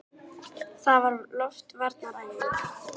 Það var loftvarnaæfing!